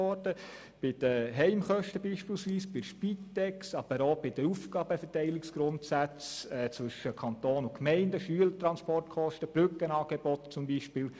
Es sind beispielsweise Massnahmen betreffend die Heimkosten, die Spitex, aber auch Massnahmen betreffend die Aufgabenverteilungsgrundsätze zwischen Kanton und Gemeinden wie Schülertransportkosten und Brückenangebote.